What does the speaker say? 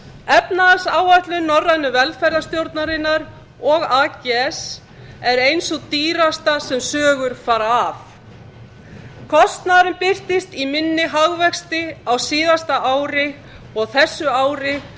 efnahagsáætlun norrænu velferðarstjórnarinnar og ags er ein sú dýrasta sem sögur fara af kostnaðurinn birtist í minni hagvexti á síðasta ári og þessu ári